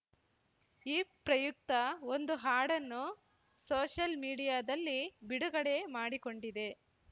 ಈ ಪ್ರಯುಕ್ತ ಒಂದು ಹಾಡನ್ನು ಸೋಷಲ್‌ ಮೀಡಿಯಾದಲ್ಲಿ ಬಿಡುಗಡೆ ಮಾಡಿಕೊಂಡಿದೆ